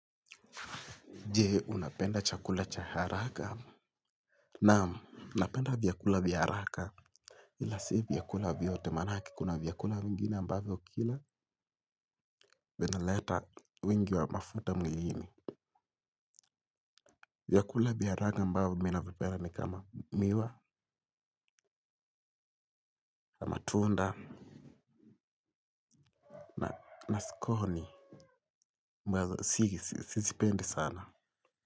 Je, unapenda chakula cha haraka? Naam, napenda vyakula vya haraka. Ila si vyakula vyote maanake kuna vyakula vingine ambavyo ukila. Vinaleta wingi wa mafuta mwiliini. Vyakula vya haraka ambavyo mimi navipenda ni kama miwa, matunda na sconi. Si hizi, sizipendi sana.